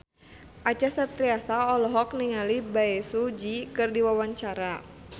Acha Septriasa olohok ningali Bae Su Ji keur diwawancara